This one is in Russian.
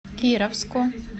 кировску